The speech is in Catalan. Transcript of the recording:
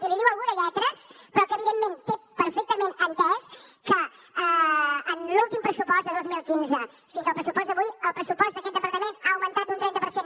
i l’hi diu algú de lletres però que evidentment té perfectament entès que de l’últim pressupost del dos mil quinze fins al pressupost d’avui el pressupost d’aquest departament ha augmentat un trenta per cent